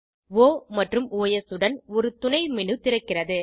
ஒ மற்றும் ஒஸ் உடன் ஒரு துணை மேனு திறக்கிறது